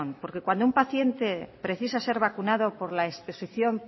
porque cuando paciente precisa ser vacunado por la